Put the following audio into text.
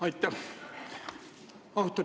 Aitäh!